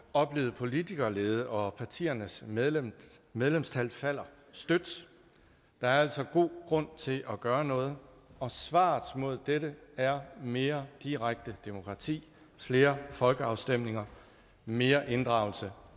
oplevet politikerlede og partiernes medlemstal medlemstal falder støt der er altså god grund til at gøre noget og svaret mod dette er mere direkte demokrati flere folkeafstemninger mere inddragelse